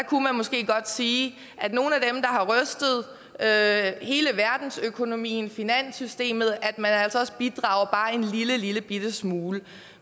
kunne måske godt sige at nogle af hele verdensøkonomien finanssystemet altså også bidrager bare en lillebitte smule